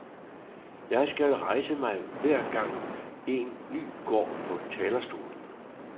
Jeg skal rejse mig hver gang, en ny går på talerstolen.